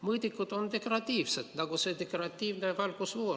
Mõõdikud on deklaratiivsed, nii nagu on deklaratiivne ka valgusfoor.